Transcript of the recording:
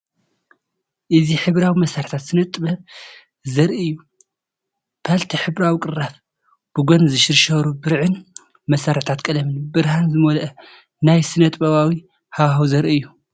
እዚ ሕብራዊ መሳርሒታት ስነ-ጥበብ ዘርኢ እዩ። ፓለቲ ሕብራዊ ቅራፍ፡ ብጎኒ ዝሽርሸሩ ብርዕን መሳርሒታት ቀለምን፡ ብርሃን ዝመልአ ናይ ስነ-ጥበባዊ ሃዋህው ዘርኢ እዩ።